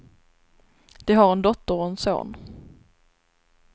De har en dotter och en son.